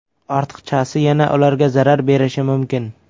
Ortiqchasi yana ularga zarar berishi mumkin.